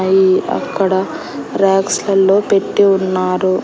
అయి అక్కడ రాక్స్ లల్లో పెట్టి ఉన్నారు.